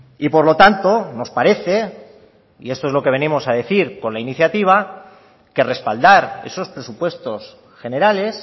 y por lo tanto nos parece y esto es lo que venimos a decir con la iniciativa que respaldar esos presupuestos generales